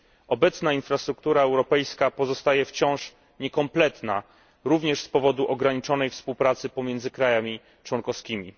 Obecna infrastruktura europejska pozostaje wciąż niekompletna, również z powodu ograniczonej współpracy pomiędzy państwami członkowskimi.